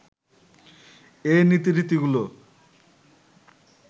এই নীতি রীতিগুলো